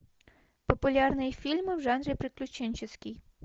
популярные фильмы в жанре приключенческий